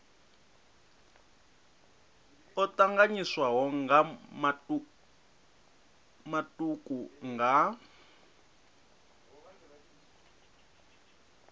o tanganyiswaho nga matuku nga